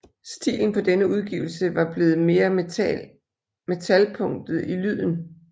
Stilen på denne udgivelse var blevet mere metal punket i lyden